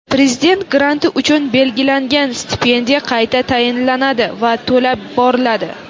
Prezident granti uchun belgilangan stipendiya qayta tayinlanadi va to‘lab boriladi;.